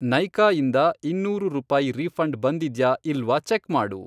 ನೈಕಾ ಇಂದ ಇನ್ನೂರು ರೂಪಾಯಿ ರೀಫ಼ಂಡ್ ಬಂದಿದ್ಯಾ ಇಲ್ವಾ ಚೆಕ್ ಮಾಡು!